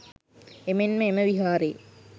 එමෙන්ම එම විහාරයේ